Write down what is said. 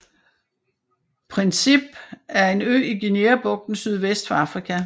Príncipe er en ø i Guineabugten sydvest for Afrika